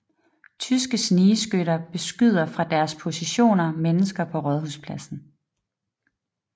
Tyske snigskytter beskyder fra deres positioner mennesker på Rådhuspladsen